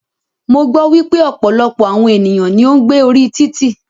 Mo gbọ́ wípé ọ̀pọ̀lọpọ̀ àwọn ènìyàn ní o ń gbé orí títì.